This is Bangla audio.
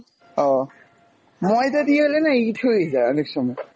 ও, মইদা দিয়ে হলে না ইট হয়ে যায় অনেক সময়।